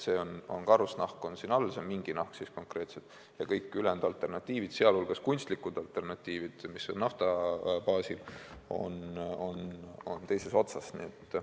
See karusnahk on siin all, see mingi nahk konkreetselt, ja kõik ülejäänud alternatiivid, sh kunstlikud alternatiivid, mis on nafta baasil, on teises otsas.